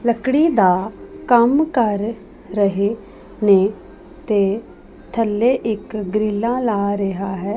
ਲੱਕੜੀ ਦਾ ਕੰਮ ਕਰ ਰਹੇ ਨੇਂ ਤੇ ਥੱਲੇ ਇੱਕ ਗ੍ਰਿੱਲਾਂ ਲਾ ਰਿਹਾ ਹੈ।